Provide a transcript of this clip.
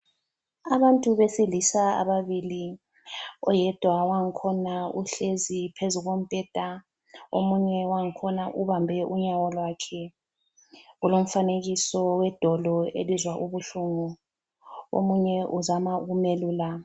Abantu besilisa ababili oyedwa wangkhona uhlezi phezu kombheda omunye wangkhona ubambe unyawo lwakhe. Kulomfanekiso wedolo elizwa ubuhlungu. Omunye uzama ukumelula.